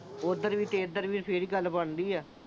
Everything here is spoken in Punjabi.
ਉਧਰ ਵੀ ਤੇ ਇਧਰ ਵੀ, ਫਿਰ ਹੀ ਗੱਲ ਬਣਦੀ ਆ।